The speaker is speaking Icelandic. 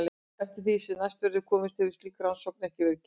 Eftir því sem næst verður komist hefur slík rannsókn ekki verið gerð.